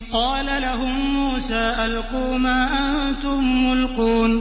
قَالَ لَهُم مُّوسَىٰ أَلْقُوا مَا أَنتُم مُّلْقُونَ